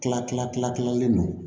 Tila kila kila kilalen don